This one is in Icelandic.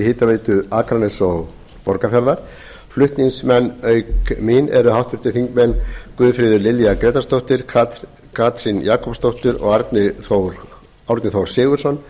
hitaveitu akraness og borgarfjarðar flutningsmenn auk mín eru háttvirtir þingmenn guðfríður lilja grétarsdóttir katrín jakobsdóttir og árni þór sigurðsson